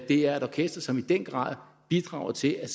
er et orkester som i den grad bidrager til at